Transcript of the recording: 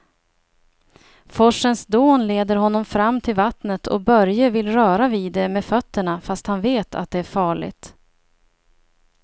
Forsens dån leder honom fram till vattnet och Börje vill röra vid det med fötterna, fast han vet att det är farligt.